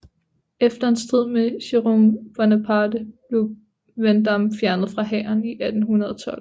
Efter en strid med Jérôme Bonaparte blev Vandamme fjernet fra hæren 1812